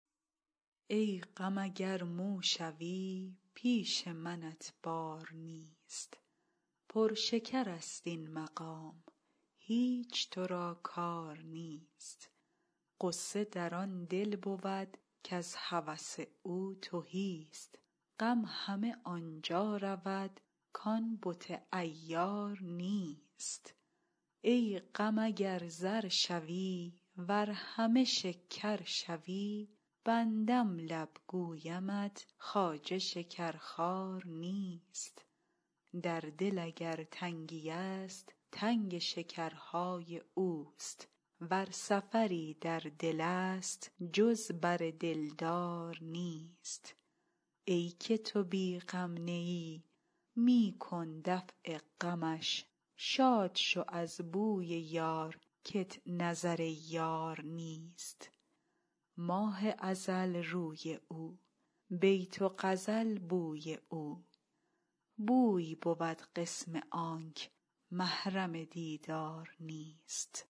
ای غم اگر مو شوی پیش منت بار نیست پر شکرست این مقام هیچ تو را کار نیست غصه در آن دل بود کز هوس او تهیست غم همه آن جا رود کان بت عیار نیست ای غم اگر زر شوی ور همه شکر شوی بندم لب گویمت خواجه شکرخوار نیست در دل اگر تنگیست تنگ شکرهای اوست ور سفری در دلست جز بر دلدار نیست ای که تو بی غم نه ای می کن دفع غمش شاد شو از بوی یار کت نظر یار نیست ماه ازل روی او بیت و غزل بوی او بوی بود قسم آنک محرم دیدار نیست